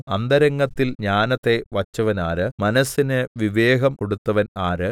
അന്തരംഗത്തിൽ ജ്ഞാനത്തെ വച്ചവനാര് മനസ്സിന് വിവേകം കൊടുത്തവൻ ആര്